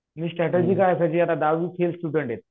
मी strategy काय आखायची की दहावी फेल स्टुडन्ट आहेत